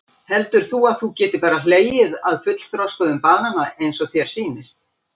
Heldur þú að þú getir bara hlegið af fullþroskuðm banana eins og þér sýnist?